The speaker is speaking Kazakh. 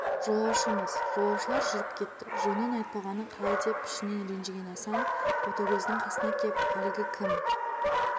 жолаушымыз олаушылар жүріп кетті жөнін айтпағаны қалай деп ішінен ренжіген асан ботагөздің қасына кеп әлгі кім